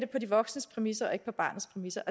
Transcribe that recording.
på de vosknes præmisser og ikke på barnets præmisser